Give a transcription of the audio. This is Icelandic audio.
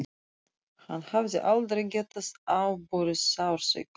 Hann hafði aldrei getað afborið sársauka.